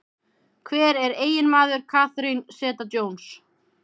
Hver er eiginmaður Catherine Zeta-Jones?